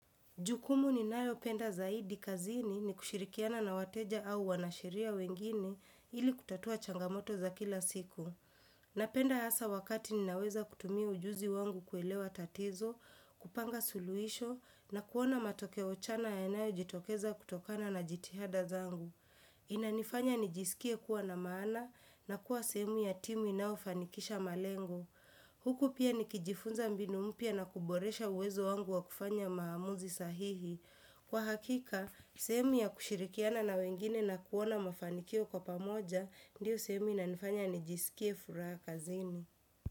Jukumu ninayopenda zaidi kazini ni kushirikiana na wateja au wanasheria wengine ili kutatua changamoto za kila siku. Napenda hasa wakati ninaweza kutumia ujuzi wangu kuelewa tatizo, kupanga suluhisho na kuona matokeo chanya yanayojitokeza kutokana na jitihada zangu. Inanifanya nijisikie kuwa na maana na kuwa sehemu ya timu inayofanikisha malengo. Huku pia nikijifunza mbinu mpya na kuboresha uwezo wangu wa kufanya maamuzi sahihi. Kwa hakika, sehemu ya kushirikiana na wengine na kuona mafanikio kwa pamoja, ndiyo sehemu inanifanya nijsikie furaha kazini.